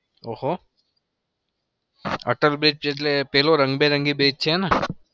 ઓહ હો atal bridge એટલે પેલો રંગબેરંગી bridge છે એ ન?